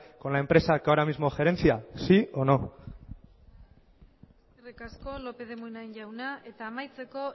con la empresa que ahora mismo gerencia sí o no eskerrik asko lópez de munain jauna eta amaitzeko